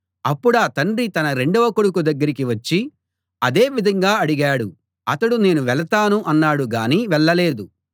అప్పుడా తండ్రి తన రెండవ కొడుకు దగ్గరికి వచ్చి అదే విధంగా అడిగాడు అతడు నేను వెళతాను అన్నాడుగానీ వెళ్ళలేదు